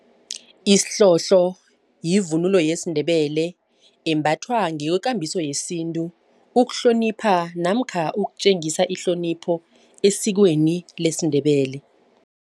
Isihlobo yivunulo yesiNdebele embathwa ngokwekambiso yesintu ukuhlonipha namkha ukutjengisa ihlonipho esikweni lesiNdebele.